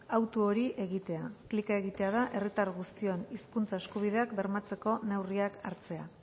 hautu hori egitea klika egitea da herritar guztion hizkuntza eskubideak bermatzeko neurriak hartzea